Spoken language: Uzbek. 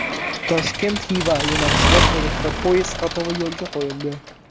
Toshkent – Xiva yo‘nalishida elektropoyezd qatnovi yo‘lga qo‘yildi.